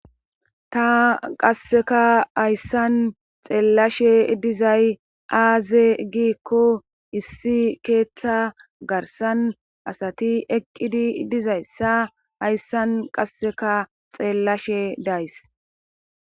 Ta qasseka hayssan xeellashe dizay aaze giikko issi keeththa garsan asati eqqidi dizayssa hayssan qasseka xeellashe days.